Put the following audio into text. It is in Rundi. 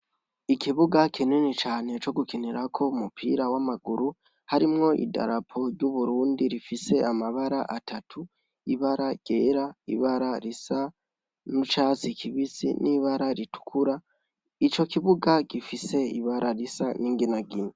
Ikibuga kinini cane co gukinirako umupira w'amaguru harimwo i darapo ry'uburundi rifise amabara atatu ibara ryera ibara risa n'icatsi kibisi n'ibara ritukura ico kibuga gifise ibara risa n'inginagina.